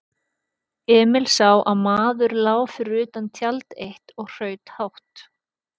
Emil sá að maður lá fyrir utan tjald eitt og hraut hátt.